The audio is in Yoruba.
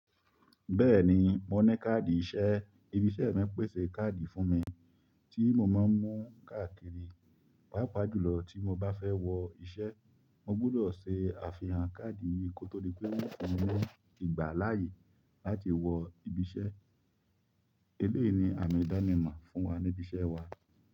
Bẹ́ẹ̀ni, mo ní káàdì iṣẹ́. Ibiṣẹ́ mi pèsè káàdì fún mi tí mo máa ń mú káàkiri, pàápàá jùlọ tí mo bá fẹ́ wọ iṣẹ́. Mo gbọdọ̀ ṣe àfihàn káàdì yìí kó tó di pé yóò fún mi ní ìgbà láàyè láti wọ ibi iṣẹ́. Eléyìí ni àmì ìdánimọ̀ fún wa ní ibi iṣẹ́ wa.